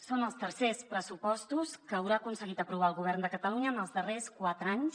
són els tercers pressupostos que haurà aconseguit aprovar el govern de catalunya en els darrers quatre anys